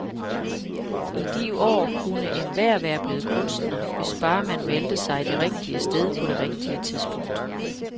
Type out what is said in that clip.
I de år kunne enhver være blevet kunstner, hvis bare man meldte sig det rigtige sted på det rigtige tidspunkt.